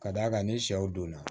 Ka d'a kan ni sɛw donna